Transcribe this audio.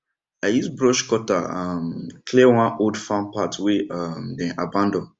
i use brush cutter um clear one old farm path wey um dem abandon